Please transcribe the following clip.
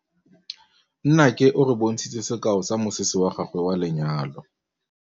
Nnake o re bontshitse sekaô sa mosese wa gagwe wa lenyalo.